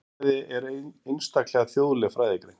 Þjóðfræði er einstaklega þjóðleg fræðigrein.